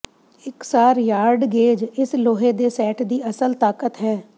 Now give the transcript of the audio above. ਇਕਸਾਰ ਯਾਰਡਗੇਜ ਇਸ ਲੋਹੇ ਦੇ ਸੈੱਟ ਦੀ ਅਸਲ ਤਾਕਤ ਹੈ